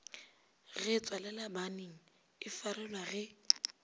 ge tswalelabanning e farelwa ge